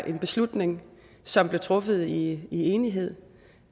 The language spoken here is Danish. en beslutning som blev truffet i enighed